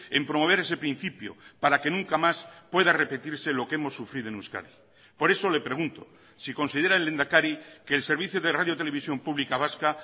en promover ese principio para que nunca más pueda repetirse lo que hemos sufrido en euskadi por eso le pregunto si considera el lehendakari que el servicio de radiotelevisión pública vasca